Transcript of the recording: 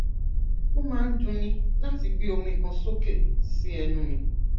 ó máa ń dunni láti gbé omi kan sókè sí ẹnu mi